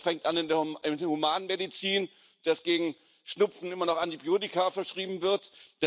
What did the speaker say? Das fängt an in der Humanmedizin, dass gegen Schnupfen immer noch Antibiotika verschrieben werden.